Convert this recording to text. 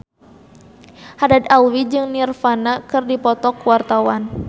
Haddad Alwi jeung Nirvana keur dipoto ku wartawan